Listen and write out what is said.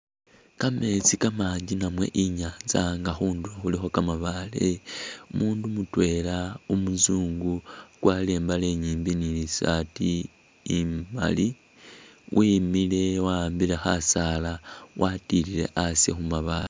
Kametsi kamanji namwe inyanza nga khundulo khulikho kamabaale umundu mutwela umusungu wakwarile imbale inyimbi ni'sarti imaali wemile wa'ambile khasaala watilile asi khumabaale